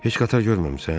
Heç qatar görməmisən?